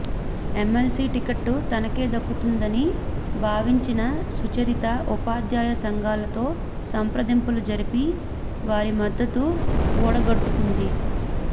MLC ticket తనకే దక్కుతుందని భావించిన సుచరిత ఉపాధ్యాయ సంఘాలతో సంప్రదింపులు జరిపి వారిమద్దతు కూడగట్టుకుంది